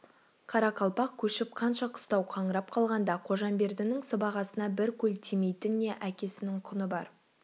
қарақалпақ көшіп қанша қыстау қаңырап қалғанда қожамбердінің сыбағасына бір көл тимейтін не әкесінің құны бар